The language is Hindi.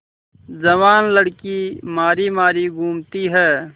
जवान लड़की मारी मारी घूमती है